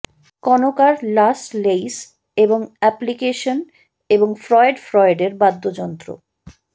কনোকার লাস লেইস এবং এপ্লিকেশন এবং ফ্রয়েড ফ্রয়েডের বাদ্যযন্ত্র